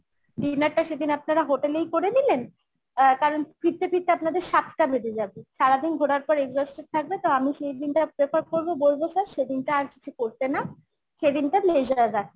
dinner টা সেদিন আপনারা hotel এই করে নিলেন অ্যাঁ কারণ ফিরতে ফিরতে আপনাদের সাতটা বেজে যাবে সারাদিন ঘোরার পর exhausted থাকবে তো আমি সেই দিনটা prefer করবো বলব sir সেদিনটা আর কিছু করতে না সেদিনটা leasure রাখতে